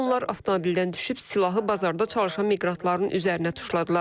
Onlar avtomobildən düşüb silahı bazarda çalışan miqrantların üzərinə tuşladılar.